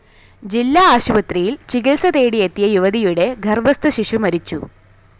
ജില്ലാ ആശുപത്രിയില്‍ ചികിത്സ തേടിയെത്തിയ യുവതിയുടെ ഗര്‍ഭസ്ഥ ശിശു മരിച്ചു